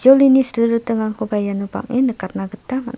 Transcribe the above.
jolini ni silritingrangkoba iano bang·en nikatna gita man --